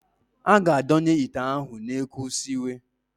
A ga-adonye ite ahụ n'ekwu siwe.